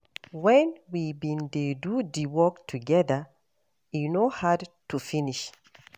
Wen we bin dey do di work togeda, e no hard to finish.